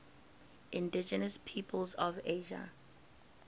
indigenous peoples of asia